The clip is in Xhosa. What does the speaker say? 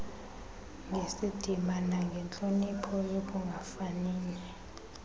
ngesidima nangentloniphi ekungafanini